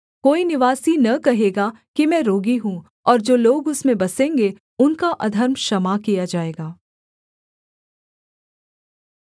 कोई निवासी न कहेगा कि मैं रोगी हूँ और जो लोग उसमें बसेंगे उनका अधर्म क्षमा किया जाएगा